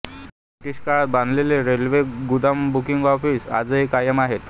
British काळात बांधलेले railway गुदाम बुकिंग ऑफीस आजही कायम आहेत